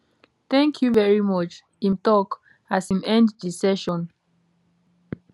thank you very much im tok as im end di session